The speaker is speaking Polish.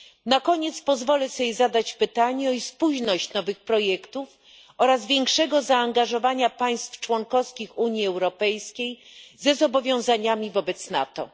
Na koniec pozwolę sobie zadać pytanie o spójność nowych projektów i większego zaangażowania państw członkowskich Unii Europejskiej ze zobowiązaniami wobec NATO.